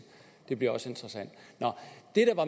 det bliver også interessant